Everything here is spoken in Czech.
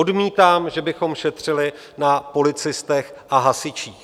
Odmítám, že bychom šetřili na policistech a hasičích.